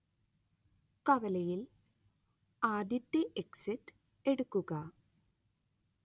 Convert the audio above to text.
കവലയിൽ ആദ്യത്തെ എക്സിറ്റ് എടുക്കുക